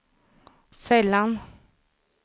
sällan